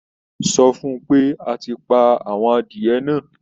Sọ fún-un pé a ti pa àwọn adìẹ náà?